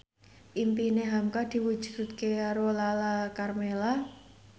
impine hamka diwujudke karo Lala Karmela